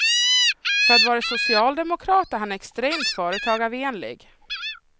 För att vara socialdemokrat är han extremt företagarvänlig.